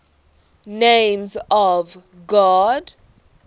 names of god